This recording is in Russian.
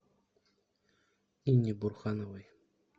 инне бурхановой